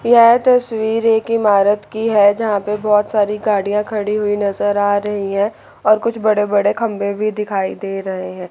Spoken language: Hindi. यह तस्वीर एक इमारत की है जहां पे बहोत सारी गाड़ियां खड़ी हुई नजर आ रही है और कुछ बड़े बड़े खंभे भी दिखाई दे रहे है।